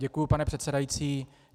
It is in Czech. Děkuji, pane předsedající.